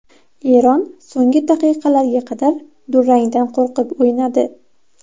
Eron so‘nggi daqiqalarga qadar durangdan qo‘rqib o‘ynadi.